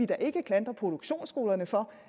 da ikke klandre produktionsskolerne for